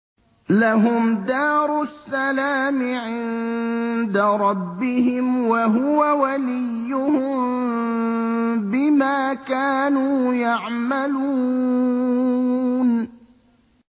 ۞ لَهُمْ دَارُ السَّلَامِ عِندَ رَبِّهِمْ ۖ وَهُوَ وَلِيُّهُم بِمَا كَانُوا يَعْمَلُونَ